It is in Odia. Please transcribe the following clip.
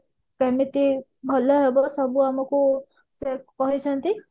କେମିତି ସବୁ ଭଲ ହବ ସବୁ ଆମକୁ ସେ କହିଛନ୍ତି